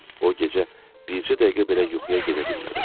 O gecə bircə dəqiqə belə yuxuya gedə bilmədim.